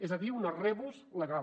és a dir una rebus legal